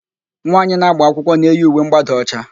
Nwaanyị na-agba akwụkwọ na-eyi uwe ḿgbádà ọcha.